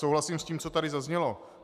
Souhlasím s tím, co tady zaznělo.